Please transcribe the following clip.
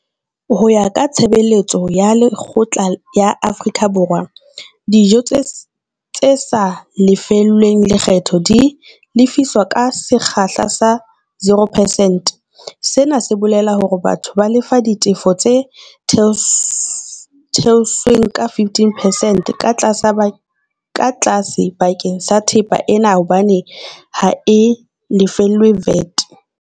Ho ya ka tshebeletso ya lekgetho ya Afrika Borwa, dijo tse sa lefellweng lekgetho di lefiswa ka sekgahla sa 0 percent, sena se bolela hore batho ba lefa ditefo tse theotsweng ka 15 percent ka tlase ka tlase bakeng sa thepa ena hobane ha e lefellwe VAT.